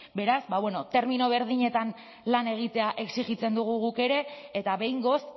beraz ba bueno termino berdinetan lan egitea exijitzen dugu guk ere eta behingoz